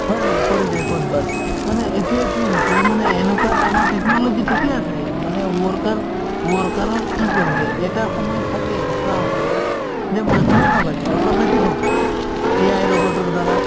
হয় নে নাই পৰি যায় ক'ৰবাত মানে এতিয়া কি হৈছে মানে এনেকুৱাত আমাৰ technology ঠিকে আছে মানে worker worker ৰৰ কি কৰিছে এটা সময়ত ছাগে এনেকুৱা হ'ব যে মানুহেই নালাগে automatic হ'ব AI robot ৰ দ্বাৰা